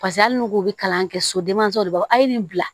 Paseke hali n'u k'u bi kalan kɛ sodenmanso de b'a a ye nin bila